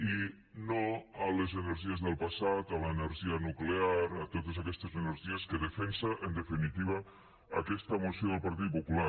i no a les energies del passat a l’energia nuclear a totes aquestes energies que defensa en definitiva aquesta moció del partit popular